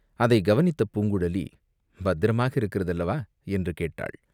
அதைக் கவனித்த பூங்குழலி, "பத்திரமாக இருக்கிறதல்லவா?" என்று கேட்டாள்.